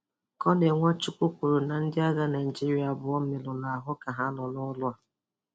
Kọnel Nwachukwu kwuru na ndị agha Naịjíríà abụọ merụrụ ahụ ka ha nọ ọrụ ọrụ a.